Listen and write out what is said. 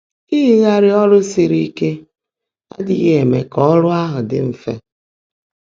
Ị́yígháàrị́ ọ́rụ́ sírí íke ádị́ghị́ émé kà ọ́rụ́ áhụ́ ḍị́ mfeè.